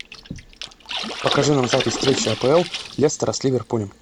покажи нам запись встречи апл лестера с ливерпулем